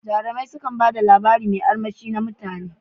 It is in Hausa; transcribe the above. Jarumai su kan bada labari mai armushi na mutane.